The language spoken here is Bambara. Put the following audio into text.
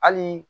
Hali